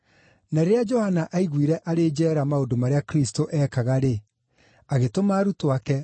Na rĩrĩa Johana aiguĩre arĩ njeera maũndũ marĩa Kristũ eekaga-rĩ, agĩtũma arutwo ake,